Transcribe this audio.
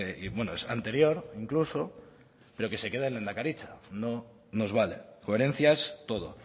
y es anterior incluso pero que se quede en lehendakaritza no nos vale coherencias todo